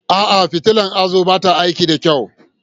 A'a, fitilar hazo ba ta aiki da kyau.